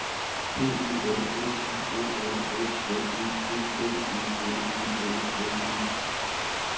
P E N S I O N S M E D D E L E L S E